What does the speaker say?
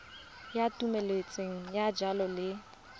ya thomeloteng ya dijalo le